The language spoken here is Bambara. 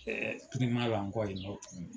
Ɛɛ la n kɔ yen nɔ tukuni.